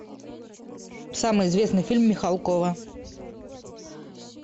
самый известный фильм михалкова